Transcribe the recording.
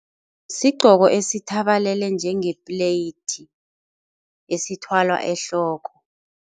Sigqoko esithabalele njenge-plate esithwalwa ehloko.